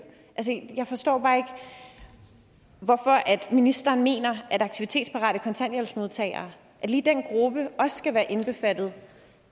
jeg forstår bare hvorfor ministeren mener at aktivitetsparate kontanthjælpsmodtagere at lige den gruppe også skal være omfattet